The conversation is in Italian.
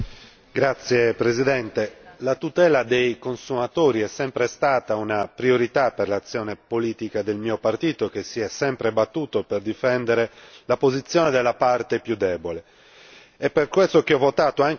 Signor Presidente, onorevoli colleghi, la tutela dei consumatori è sempre stata una priorità per l'azione politica del mio partito, che si è sempre battuto per difendere la posizione della parte più debole.